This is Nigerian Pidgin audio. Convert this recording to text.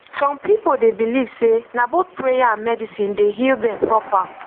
some people dey believe say na both prayer and medicine dey heal dem proper